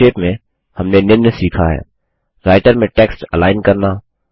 संक्षेप में हमने निम्न सीखा हैः राइटर में टेक्स्ट अलाइन करना